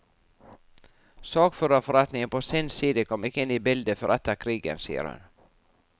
Sakførerforeningen på sin side kom ikke inn i bildet før etter krigen, sier hun.